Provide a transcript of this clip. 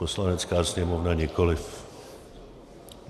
Poslanecká sněmovna nikoliv.